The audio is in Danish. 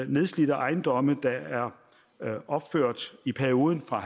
nedslidte ejendomme der er opført i perioden fra